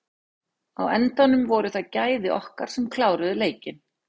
Á endanum voru það gæði okkar sem kláruðu leikinn.